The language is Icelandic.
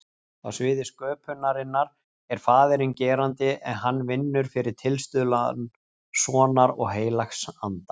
Á sviði sköpunarinnar er faðirinn gerandi en hann vinnur fyrir tilstuðlan sonar og heilags anda.